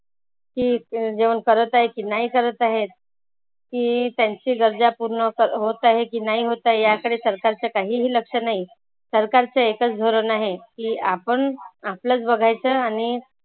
की जेवण करत आहेत की नाही करत आहेत. की त्यांची गरजा पुर्ण कर होत आहेत की नाही होत आहेत. या कडे सरकारचं काहीही लक्ष नाही. सरकारचं एकच धोरण आहे. की आपण आपलच बघायच आणि